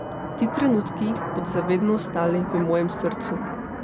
Ti trenutki bodo za vedno ostali v mojem srcu.